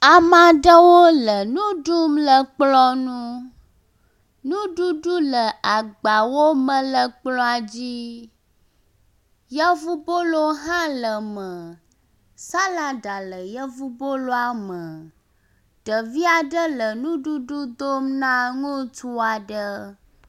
Ame aɖewo le nu ɖum le kplɔ̃ nu. Nuɖuɖu le agbawo me le kplɔ̃a dzi. Yevubolo hã le eme. Salaɖa le yevuboloa me. Ɖevi aɖe le nuɖuɖu dom na ŋutsu aɖe.